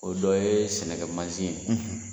O dɔ ye sɛnɛkɛ mansin ye.